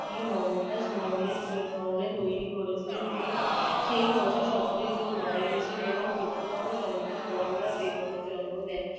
এ মমতাজ মহলের স্মরণে তৈরি করেছিলেন যিনি সেই বছর সতেরোই জুন মারা গিয়েছিলেন এবং চৌদ্দতম সন্তান কমলা বেগমের জন্ম দেন